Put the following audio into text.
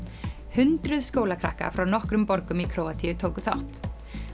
hundruð skólakrakka frá nokkrum borgum í Króatíu tóku þátt